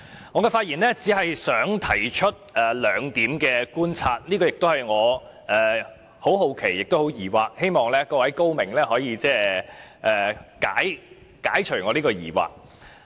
我發言只是想提出兩點觀察，這兩點令我感到很好奇和很疑惑，希望各位高明可以解除我的疑惑。